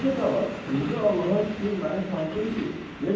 Karapet ağa, indi Allaha şükür məni tanıdın ki,